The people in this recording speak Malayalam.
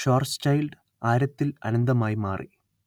ഷ്വാർസ്ചൈൽഡ് ആരത്തിൽ അനന്തമായി മാറി